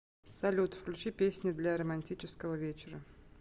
салют включи песни для романтического вечера